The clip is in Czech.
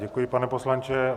Děkuji, pane poslanče.